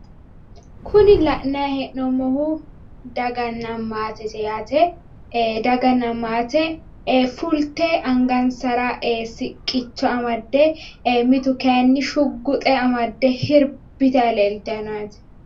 Kuni la'nayi hee'noommohu daganna maatete yaate. daganna maate fulte angansara siqqicho amadde mitu kayinni shugguxe amadde sirbitanni leeltanno yaate.